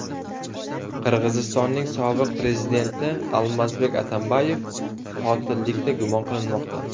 Qirg‘izistonning sobiq prezidenti Almazbek Atambayev qotillikda gumon qilinmoqda.